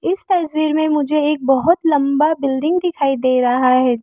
इस तस्वीर में मुझे एक बहुत लंबा बिल्डिंग दिखाई दे रहा है।